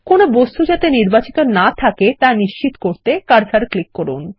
কোন বস্তু যাতে নির্বাচিত না থাকে তা নিশ্চিত করতে কার্সার ক্লিক করুন